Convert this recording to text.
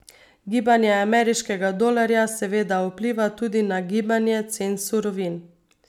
Gibanje ameriškega dolarja seveda vpliva tudi na gibanje cen surovin.